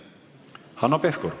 Hanno Pevkur.